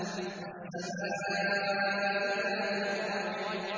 وَالسَّمَاءِ ذَاتِ الرَّجْعِ